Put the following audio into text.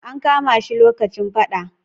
An kama shi lokacin faɗa.